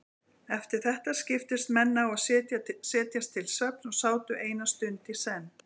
Eftir þetta skiptust menn á að setjast til svefns og sátu eina stund í senn.